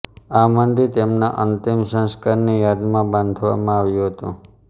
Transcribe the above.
આ મંદિર તેમના અંતિમ સંસ્કારની યાદમાં બાંધવામાં આવ્યું હતું